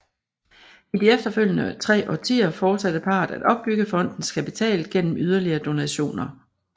I de efterfølgende tre årtier fortsatte parret at opbygge fondens kapital gennem yderligere donationer